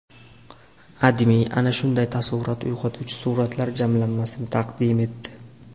AdMe ana shunday taassurot uyg‘otuvchi suratlar jamlanmasini taqdim etdi .